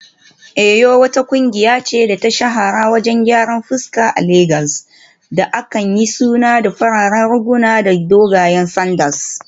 Eyo wata kungiya ce da ta shahara wajen gyaran fuska a Legas da aka yi suna da fararen riguna da dogayen sanda